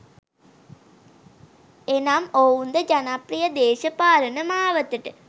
එනම් ඔවුන්ද ජනප්‍රිය දේශපාලන මාවතට